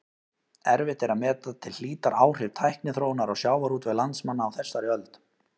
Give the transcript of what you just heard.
Erfitt er að meta til hlítar áhrif tækniþróunar á sjávarútveg landsmanna á þessari öld.